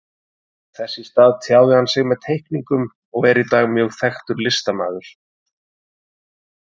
Þess í stað tjáði hann sig með teikningum og er í dag mjög þekktur listamaður.